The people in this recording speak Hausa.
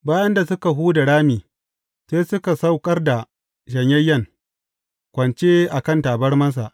Bayan da suka huda rami, sai suka saukar da shanyayyen, kwance a kan tabarmarsa.